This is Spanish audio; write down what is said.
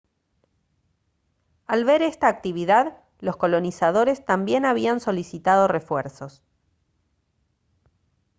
al ver esta actividad los colonizadores también habían solicitado refuerzos